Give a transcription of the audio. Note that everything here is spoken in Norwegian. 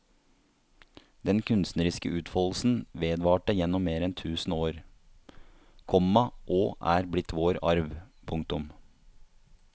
Den kunstneriske utfoldelsen vedvarte gjennom mer enn tusen år, komma og er blitt vår arv. punktum